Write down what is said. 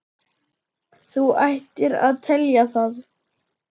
Þú ættir að telja það.